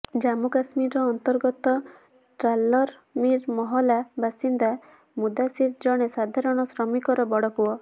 ଜମ୍ମୁ କଶ୍ମୀର ଅନ୍ତର୍ଗତ ଟ୍ରାଲର ମିର୍ ମହଲା ବାସିନ୍ଦା ମୁଦାସିର୍ ଜଣେ ସାଧାରଣ ଶ୍ରମିକର ବଡ଼ପୁଅ